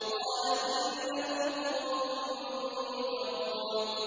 قَالَ إِنَّكُمْ قَوْمٌ مُّنكَرُونَ